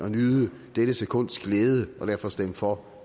at nyde dette sekunds glæde og derfor stemme for